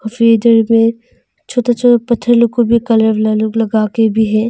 में छोटा छोटा पत्थर लोग को भी कलर लगा के भी है।